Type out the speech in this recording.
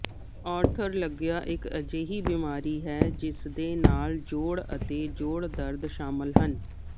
arthralgia ਇੱਕ ਅਜਿਹੀ ਬਿਮਾਰੀ ਹੈ ਜਿਸ ਦੇ ਨਾਲ ਜੋੜ ਅਤੇ ਜੋੜ ਦਰਦ ਸ਼ਾਮਲ ਹਨ